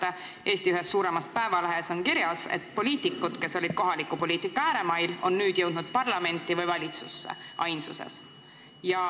Ja Eesti ühes suuremas päevalehes on kirjas, et poliitikud, kes olid kohaliku poliitika ääremail, on nüüd jõudnud parlamenti või valitsusse – ainsuses.